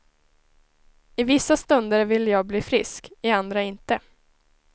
I vissa stunder vill jag bli frisk, i andra inte.